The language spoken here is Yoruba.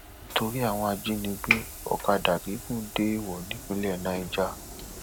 nítorí àwọn ajínigbé ọkadà gígùn déèwọ ní ìpínlẹ niger